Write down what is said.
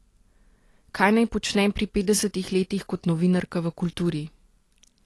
Kaj naj počnem pri petdesetih letih kot novinarka v kulturi?